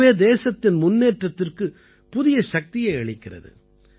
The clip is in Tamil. இதுவே தேசத்தின் முன்னேற்றத்திற்குப் புதிய சக்தியை அளிக்கிறது